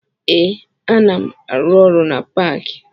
Ee, ana m arụ ọrụ na paakị